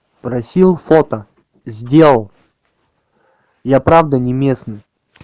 просил фото сделал я правда не местный